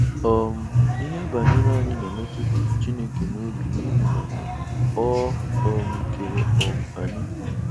um Íhè banyere anyị na-emetụ Chineke n’òbí n’íhì na Ọ um kere um anyị.